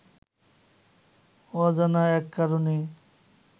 অজানা এক কারণে